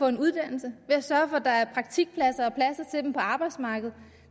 en uddannelse ved at sørge for at der er praktikpladser og dem på arbejdsmarkedet